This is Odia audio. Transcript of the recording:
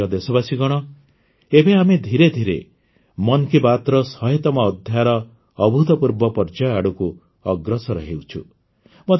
ମୋର ପ୍ରିୟ ଦେଶବାସୀଗଣ ଏବେ ଆମେ ଧୀରେଧୀରେ ମନ୍ କୀ ବାତର ଶହେତମ ଅଧ୍ୟାୟର ଅଭୂତପୂର୍ବ ପର୍ଯ୍ୟାୟ ଆଡ଼କୁ ଅଗ୍ରସର ହେଉଛୁ